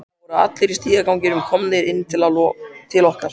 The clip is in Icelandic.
Það voru allir í stigaganginum komnir inn til okkar.